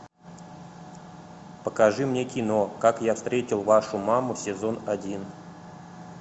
покажи мне кино как я встретил вашу маму сезон один